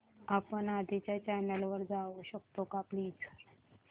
आपण आधीच्या चॅनल वर जाऊ शकतो का प्लीज